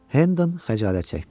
Hendon xəcalət çəkdi.